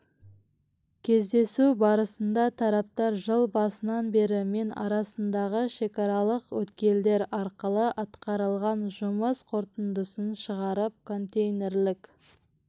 кездесу барысында тараптар жыл басынан бері мен арасындағы шекаралық өткелдер арқылы атқарылған жұмыс қорытындысын шығарып контейнерлік